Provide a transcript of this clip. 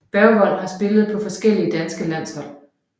Bergvold har spillet for forskellige danske landshold